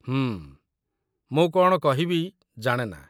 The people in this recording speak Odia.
ହୁଁ, ମୁଁ କ'ଣ କହିବି ଜାଣେ ନା।